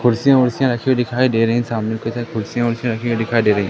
कुर्सियां ऊर्सियां रखी हुई दिखाई दे रही हैं सामने की तरफ कुर्सियों ऊर्सियां रखी हुए दिखाई दे रही --